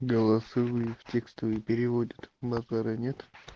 голосовые в текстовые переводят базара нет